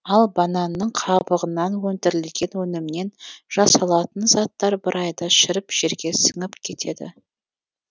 ал бананның қабығынан өндірілген өнімнен жасалатын заттар бір айда шіріп жерге сіңіп кетеді